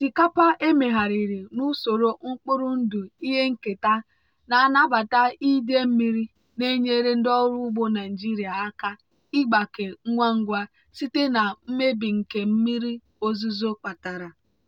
osikapa emegharịrị n'usoro mkpụrụ ndụ ihe nketa na-anabata idei mmiri na-enyere ndị ọrụ ugbo naijiria aka ịgbake ngwa ngwa site na mmebi nke mmiri ozuzo kpatara.